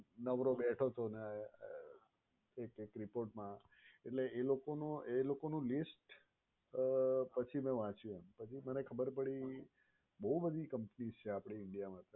નવરો બેઠો હતો ને એક એક report મા એટલે એ લોકોનું list અમ પછી મે વાંચ્યું એમ પછી મને ખબર પડી બોવ બધી companies છે આપણે india મા